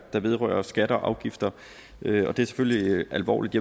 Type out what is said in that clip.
der vedrører skatter og afgifter og det er selvfølgelig alvorligt